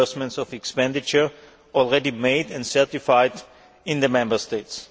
reimbursements of expenditure already made and certified in the Member States.